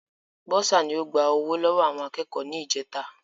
Bọ́ọ́sà ni o gba ọwọ́ lọ́wọ́ àwọn akẹ́kọ̀ọ́ ní ìjèta